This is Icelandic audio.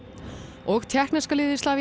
og tékkneska liðið